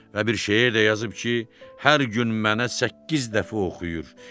Və bir şeir də yazıb ki, hər gün mənə səkkiz dəfə oxuyur.